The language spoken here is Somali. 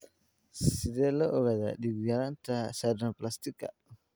Sidee loo ogaadaa dhiig-yaraanta sideroblastika?